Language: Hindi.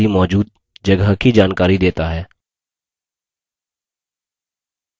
df command disk पर खाली मौजूद जगह की जानकारी देता है